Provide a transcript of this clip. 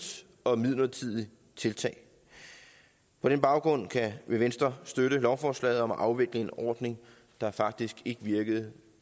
og midlertidigt tiltag på den baggrund vil venstre støtte lovforslaget om at afvikle en ordning der faktisk ikke virkede